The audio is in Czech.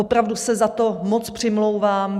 Opravdu se za to moc přimlouvám.